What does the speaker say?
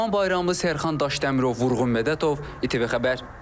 Ləman Bayramlı, Sərxan Daşdəmirov, Vurğun Mədətov, İTV Xəbər.